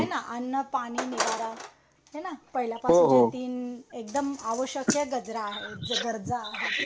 हे ना अन्न पाणी निवारा हे ना पहिल्या पासून एकदम आवश्यक गजरा आहे गरजा आहे